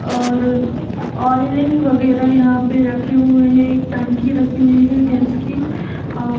और ऑयलिंग वगैरा यहाँ पे रखे हुए हैंएक टंकी रखी हुयी है गैस की औ र --